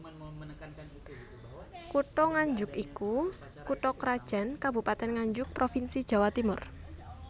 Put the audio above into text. Kutha Nganjuk iku kutha krajan Kabupatèn Nganjuk provinsi Jawa Timur